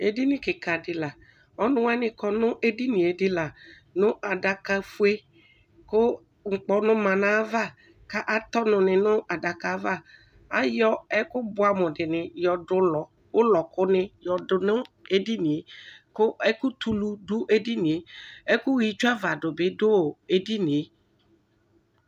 Edini kika di laɔnu wani kɔ nʋ edini yɛ dini la nu adaka fueku ŋkpɔnʋ manʋ ayiʋ avakʋ atɛ ɔnu ni nʋ adaka yɛ'avaayɔ ɛkʋ buamʋ dini yɔdu ulɔ, ʋlɔku ni yɔdu nu edini yɛkʋ ɛku tu ulu dʋ edini yɛɛkʋ ɣa itsuava du bi dʋ edini yɛ